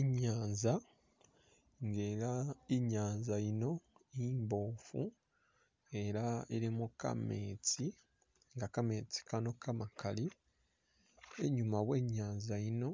Inyanza ngelah inyanza yino imbofu nga elah ilimo kametsi nga kametsi Kano kamakali inyuma we'nyanza yino